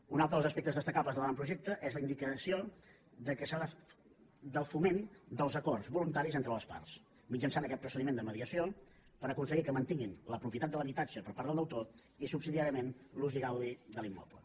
un altre dels aspectes destacables de l’avantprojecte és la indicació del foment dels acords voluntaris entre les parts mitjançant aquest procediment de mediació per aconseguir que mantinguin la propietat de l’habitatge per part del deutor i subsidiàriament l’ús i gaudi de l’immoble